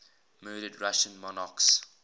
murdered russian monarchs